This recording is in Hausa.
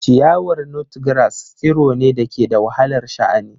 Ciyawar Nutgrass tsiro ne da ke da wahalar sha'ani.